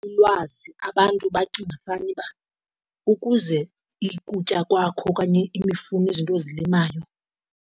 Ulwazi, abantu bacinga fanuba ukuze ukutya kwakho okanye imifuno izinto ozilimayo.